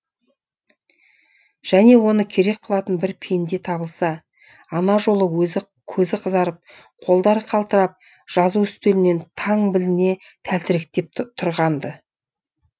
және оны керек қылатын бір пенде табылса ана жолы көзі қызарып қолдары қалтырап жазу үстөлінен таң біліне тәлтіректеп тұрған ды